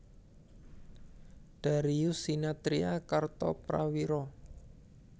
Darius Sinathrya Kartoprawiro